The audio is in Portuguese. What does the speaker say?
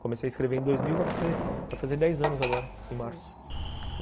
Comecei a escrever em dois mil, vai fazer dez anos agora, em março.